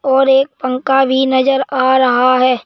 और एक पंखा भी नजर आ रहा है।